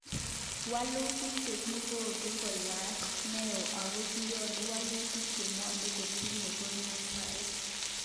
Wolutik chekikonu kayanet neo ako kiyoni wolutik chebwone kotinye konyoeset